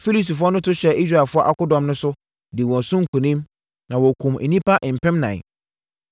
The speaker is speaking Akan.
Filistifoɔ no to hyɛɛ Israelfoɔ akodɔm no so, dii wɔn so nkonim, na wɔkumm nnipa mpemnan.